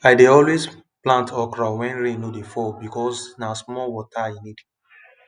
i dey always plant okra when rain no dey fall because na small water e need